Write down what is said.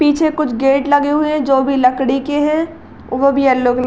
पीछे कुछ गेट लगे हुए हैं जो कि लकड़ी के हैं। वो भी येलो कलर --